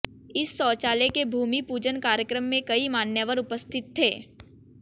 इस शौचालय के भूमि पूजन कार्यक्रम में कई मान्यवर उपस्थित थे